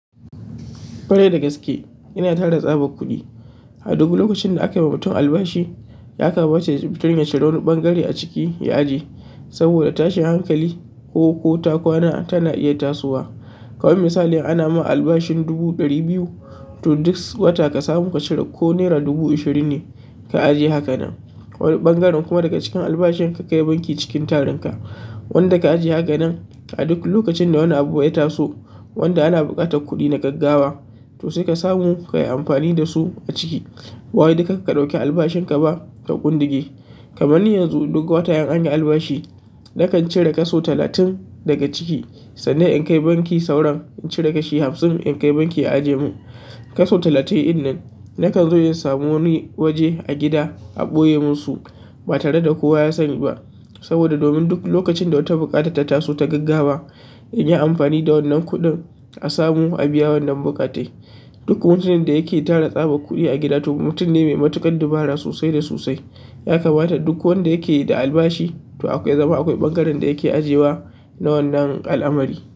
Ƙware da gaske ina tara tsaban kuɗi. A duk lokacin da aka ma mutum albashi, ya kamata ya ciri wani ɓangare a ciki ya ajiye saboda tashin hankali ko, ko takwana tana iya tasowa. Kaman misali ana ma albashin dubu ɗari biyu, to duk wata ka samu ka cire ko nera dubu ashirin ne ka ajiye hakanan. Wani ɓangaren kuma daga cikin albashin ka kai banki cikin tarinka. Wanda ka ajiye hakanan a duk lokacin da wani abu ya taso, wanda ana buƙatar kuɗi na gaggawa to sai ka samu ka yi amfani da su a ciki. Ba wai duk ka ɗauki albashin ka ba ka kundige. Kaman ni yanzu duk wata in an yi albashi nakan cire kaso talatin daga ciki sannan in kai banki sauran in cire kashi hamsin in kai banki ajiye min. Kaso talatin ɗin nan nakan zo in samo wani waje a gida a ɓoye mun su ba tare da kowa ya sani ba saboda domin duk lokacin da wata buƙata ta taso ta gaggawa in yi amfani da wannan kuɗin a samu a biya wannan bukatai. Duk mutumin da yake tara tsaban kuɗi a gida to mutum ne mai matuƙar dabara sosai da sosai. Ya kamata duk wanda yake da albashi to akwai zama akwai ɓangaren da yake ajiyewa na wannan al'amari.